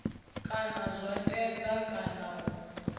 kana zwa tanda kana u